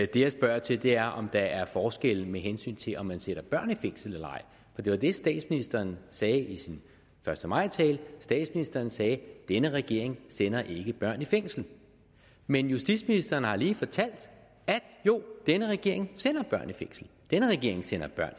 det jeg spørger til er om der er forskel med hensyn til om man sætter børn i fængsel eller ej for det var det statsministeren sagde i sin første maj tale statsministeren sagde denne regering sender ikke børn i fængsel men justitsministeren har lige fortalt at jo denne regering sender børn i fængsel denne regering sender børn